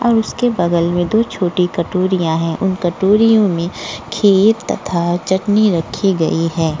और उसके बगल में दो छोटी कटोरियाँ हैं। उन कटोरियों में खीर तथा चटनी रखी गई है।